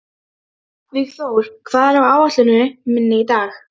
Ekkert ég á kvenfólk kunni, konunni ég einni unni.